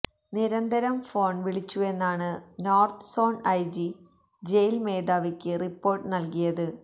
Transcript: നിരന്തരം ഫോണ് വിളിച്ചുവെന്നാണ് north zone IG jail മേധാവിക്ക് റിപ്പോര്ട്ട് നല്കിയത്